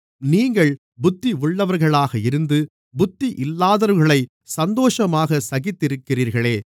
நீங்கள் புத்தி உள்ளவர்களாக இருந்து புத்தியில்லாதவர்களைச் சந்தோஷமாகச் சகித்திருக்கிறீர்களே